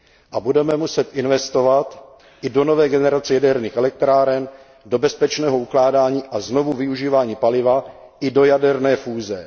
A budeme muset investovat i do nové generace jaderných elektráren, do bezpečného ukládání a znovuvyužívání paliva i do jaderné fúze.